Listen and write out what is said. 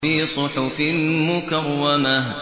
فِي صُحُفٍ مُّكَرَّمَةٍ